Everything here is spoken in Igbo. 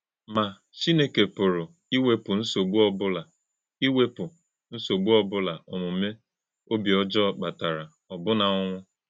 Mà, Chí́nẹ́kè pụ̀rụ̀ íwèpụ̀ nsọ̀gbú̄ ọ́bụ̀la íwèpụ̀ nsọ̀gbú̄ ọ́bụ̀la òmùmè̄ òbí ọ́jọọ̄ kpatàrà, ọ́bụ̀nà ọnwụ̄.